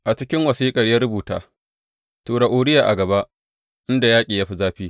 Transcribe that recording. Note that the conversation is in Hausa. A ciki wasiƙar ya rubuta, Tura Uriya a gaba inda yaƙi ya fi zafi.